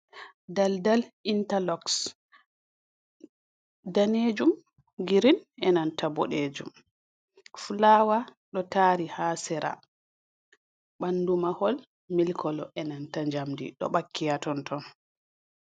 Daldal intaloxs. Daneejum, girin, enanta boɗeejum, fulawa ɗo taari haa sera. Ɓandu mahol mil kolo, enanta jamdi ɗo ɓakki haa tonton.